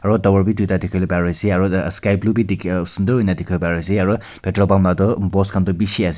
aro tower b tuita dikili pari ase aro ta sky blue diki sundoor hoina dikivo pari ase aro petrol pump la tu post kan tu bishi ase.